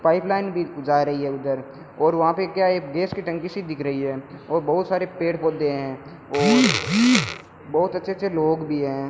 Pipe line भी जा रही है उधर और वहां पे क्या है गैस की टंकी सी दिख रही है और बहुत सारे पेड़ पोधै हैं और बहुत अच्छे अच्छे लोग भी हैं।